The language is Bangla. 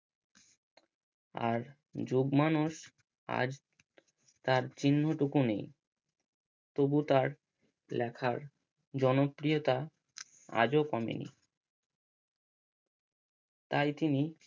আর আজ তার চিহ্ন টুকু নেই তবু তার লেখার জনপ্রিয়তা আজও কমেনি তাই তিনি